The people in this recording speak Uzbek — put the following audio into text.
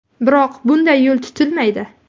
Biroq bunday yo‘l tutilmaydi.